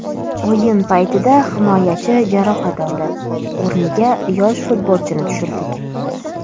O‘yin paytida himoyachi jarohat oldi, o‘rniga yosh futbolchini tushirdik.